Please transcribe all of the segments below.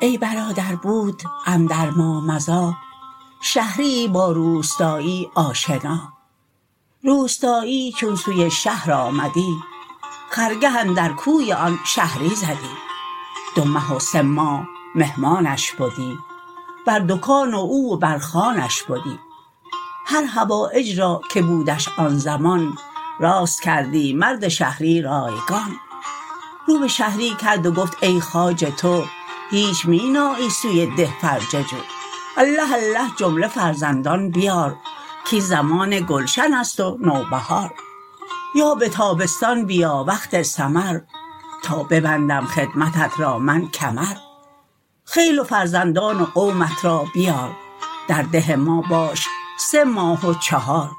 ای برادر بود اندر ما مضیٰ شهریی با روستایی آشنا روستایی چون سوی شهر آمدی خرگه اندر کوی آن شهری زدی دو مه و سه ماه مهمانش بدی بر دکان او و بر خوانش بدی هر حوایج را که بودش آن زمان راست کردی مرد شهری رایگان رو به شهری کرد و گفت ای خواجه تو هیچ می نایی سوی ده فرجه جو الله الله جمله فرزندان بیار کاین زمان گلشن ست و نوبهار یا به تابستان بیا وقت ثمر تا ببندم خدمتت را من کمر خیل و فرزندان و قومت را بیار در ده ما باش سه ماه و چهار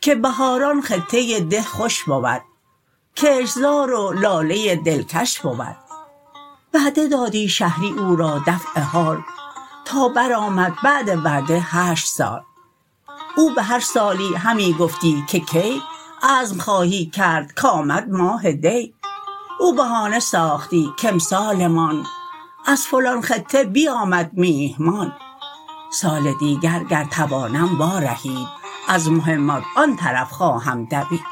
که بهاران خطه ده خوش بود کشت زار و لاله دلکش بود وعده دادی شهری او را دفع حال تا بر آمد بعد وعده هشت سال او به هر سالی همی گفتی که کی عزم خواهی کرد کامد ماه دی او بهانه ساختی کامسال مان از فلان خطه بیامد میهمان سال دیگر گر توانم وا رهید از مهمات آن طرف خواهم دوید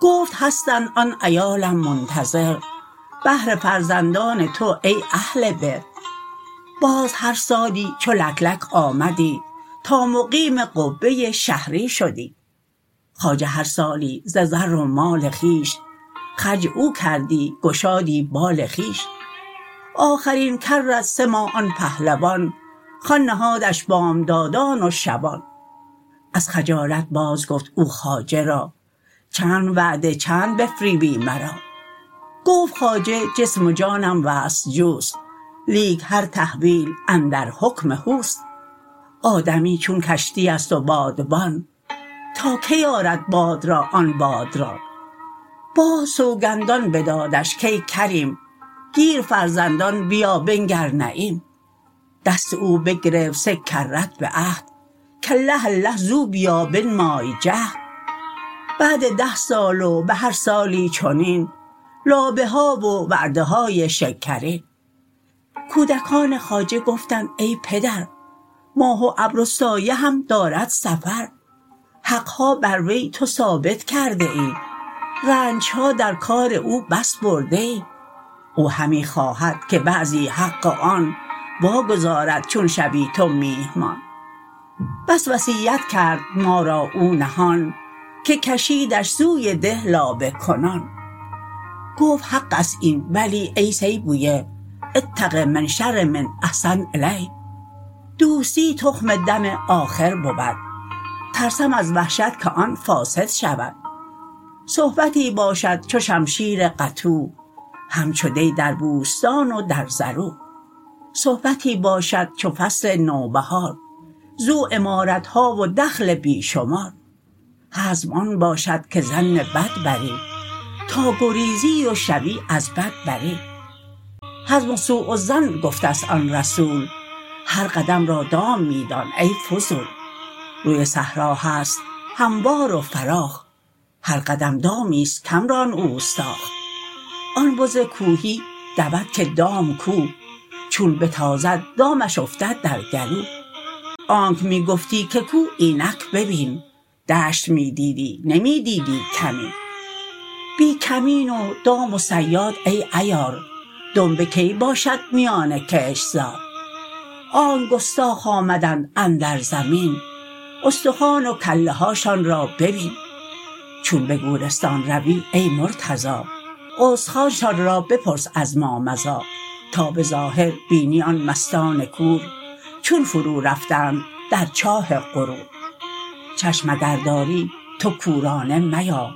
گفت هستند آن عیالم منتظر بهر فرزندان تو ای اهل بر باز هر سالی چو لک لک آمدی تا مقیم قبه شهری شدی خواجه هر سالی ز زر و مال خویش خرج او کردی گشادی بال خویش آخرین کرت سه ماه آن پهلوان خوان نهادش بامدادان و شبان از خجالت باز گفت او خواجه را چند وعده چند بفریبی مرا گفت خواجه جسم و جانم وصل جوست لیک هر تحویل اندر حکم هوست آدمی چون کشتی است و بادبان تا کی آرد باد را آن باد ران باز سوگندان بدادش کای کریم گیر فرزندان بیا بنگر نعیم دست او بگرفت سه کرت به عهد کالله الله زو بیا بنمای جهد بعد ده سال و به هر سالی چنین لابه ها و وعده های شکرین کودکان خواجه گفتند ای پدر ماه و ابر و سایه هم دارد سفر حق ها بر وی تو ثابت کرده ای رنج ها در کار او بس برده ای او همی خواهد که بعضی حق آن وا گزارد چون شوی تو میهمان بس وصیت کرد ما را او نهان که کشیدش سوی ده لابه کنان گفت حق ست این ولی ای سیبویه اتق من شر من احسنت الیه دوستی تخم دم آخر بود ترسم از وحشت که آن فاسد شود صحبتی باشد چو شمشیر قطوع همچو دی در بوستان و در زروع صحبتی باشد چو فصل نوبهار زو عمارت ها و دخل بی شمار حزم آن باشد که ظن بد بری تا گریزی و شوی از بد بری حزم سوء الظن گفته ست آن رسول هر قدم را دام می دان ای فضول روی صحرا هست هموار و فراخ هر قدم دامی ست کم ران اوستاخ آن بز کوهی دود که دام کو چون بتازد دامش افتد در گلو آنک می گفتی که کو اینک ببین دشت می دیدی نمی دیدی کمین بی کمین و دام و صیاد ای عیار دنبه کی باشد میان کشت زار آنک گستاخ آمدند اندر زمین استخوان و کله هاشان را ببین چون به گورستان روی ای مرتضا استخوانشان را بپرس از ما مضی تا به ظاهر بینی آن مستان کور چون فرو رفتند در چاه غرور چشم اگر داری تو کورانه میا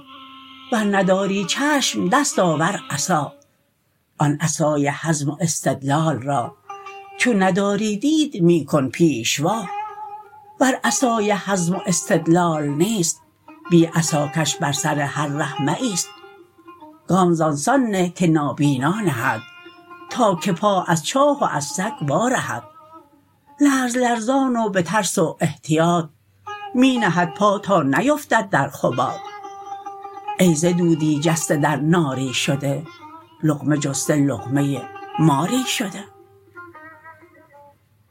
ور نداری چشم دست آور عصا آن عصای حزم و استدلال را چون نداری دید می کن پیشوا ور عصای حزم و استدلال نیست بی عصا کش بر سر هر ره مایست گام ز ان سان نه که نابینا نهد تا که پا از چاه و از سگ وا رهد لرز لرزان و به ترس و احتیاط می نهد پا تا نیفتد در خباط ای ز دودی جسته در ناری شده لقمه جسته لقمه ماری شده